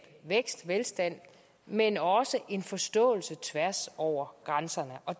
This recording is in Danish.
vækst velstand men også en forståelse tværs over grænserne